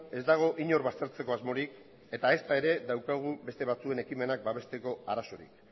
ez dago inor baztertzeko asmorik eta ezta ere daukagu beste batzuen ekimenak babesteko arazorik